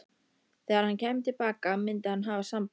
Þegar hann kæmi til baka myndi hann hafa samband.